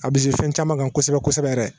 A bɛ se fɛn caman kan kosɛbɛ kosɛbɛ yɛrɛ